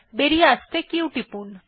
বেরিয়ে আসতে q টিপুন